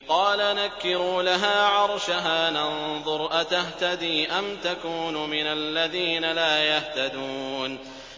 قَالَ نَكِّرُوا لَهَا عَرْشَهَا نَنظُرْ أَتَهْتَدِي أَمْ تَكُونُ مِنَ الَّذِينَ لَا يَهْتَدُونَ